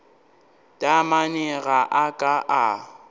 taamane ga a ka a